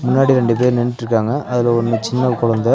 முன்னாடி ரெண்டு பேர் நின்னுட்ருக்காங்க அதுல ஒன்னு சின்ன கொழந்த.